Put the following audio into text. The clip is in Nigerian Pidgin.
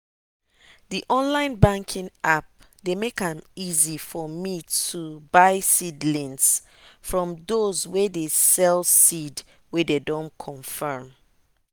the online banking app dey make am easy for me to buy seedlings from those way dey sell seed way dem don confirm.